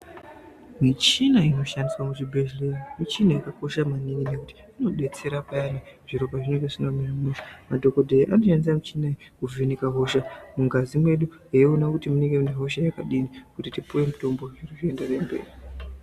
Michina inoshandiswa muzvibhedhlera michini yakakosha maningi ngekuti inodetsera payani zviro pazvinenge zvisina kumira zvakanaka. Madhogodheya anoshandisa michini iyi kuvheneka hosha mungazi mwedu veiona kuti munenge munehosha yakadini kuti tipiwe mutombo zvinhu zvienderere mberi.